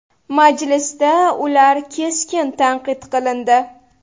Majlisda ular keskin tanqid qilindi.